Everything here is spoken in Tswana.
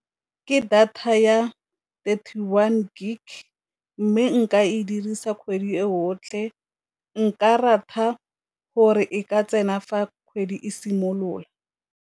Ke data ya thirty one gig, mme nka e dirisa kgwedi e yotlhe nka rata gore e ka tsena fa kgwedi e simolola.